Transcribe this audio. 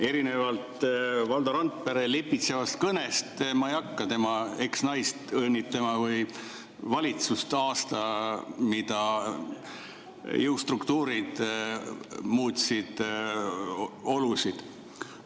Erinevalt Valdo Randpere lipitsevast kõnest ei hakka ma tema eksnaist või valitsust õnnitlema aastal, mil jõustruktuurid muutsid olusid.